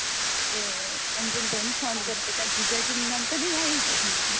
એ અન્જુ ભાઈ ને phone કર્યો કે તારા જીજાજી નું નામ તો નઈ આવ્યું કે